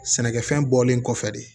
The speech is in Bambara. Sɛnɛkɛfɛn bɔlen kɔfɛ de